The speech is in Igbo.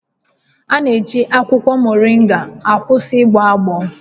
A na-eji akwụkwọ mọrịnga akwụsị ịgbọ agbọ